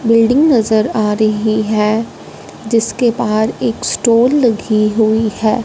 Building नजर आ रही है जिसके बाहर एक स्टॉल लगी हुई है।